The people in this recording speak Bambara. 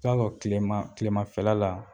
I ba fɔ kilema kilemafɛla la